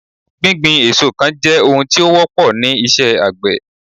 gbigbin èso kan je ohun tí ó wọ́pọ ni iṣẹ àgbè